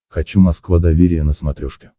хочу москва доверие на смотрешке